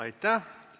Aitäh!